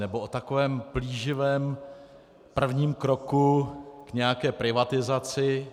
Nebo o takovém plíživém prvním kroku k nějaké privatizaci.